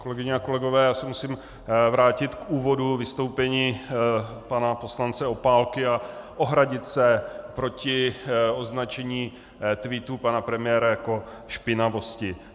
Kolegyně a kolegové, já se musím vrátit k úvodu vystoupení pana poslance Opálky a ohradit se proti označení tweetu pana premiéra jako špinavosti.